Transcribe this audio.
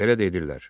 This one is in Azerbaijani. Belə də edirlər.